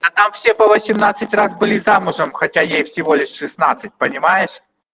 а так все по восемнадцать раз были замужем хотя ей всего лишь шестнадцать понимаешь